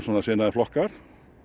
sinnaðir flokkar